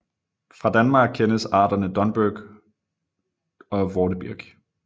Fra Danmark kendes arterne Dunbirk og Vortebirk